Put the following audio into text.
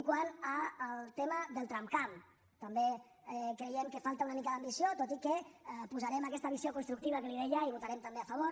quant al tema del tramcamp també creiem que falta una mica d’ambició tot i que posarem aquesta visió constructiva que li deia i hi votarem també a favor